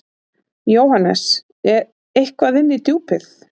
JÓHANNES: Eitthvað inn í Djúpið.